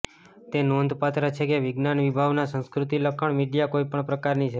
તે નોંધપાત્ર છે કે વિજ્ઞાન વિભાવના સંસ્કૃતિ લખાણ મીડિયા કોઈપણ પ્રકારની છે